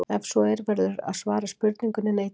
Ef svo er verður að svara spurningunni neitandi.